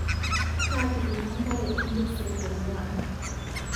Kaatijinga nkare endisi nkonguai